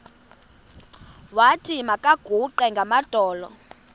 wathi makaguqe ngamadolo